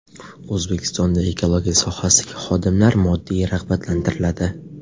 O‘zbekistonda ekologiya sohasidagi xodimlar moddiy rag‘batlantiriladi.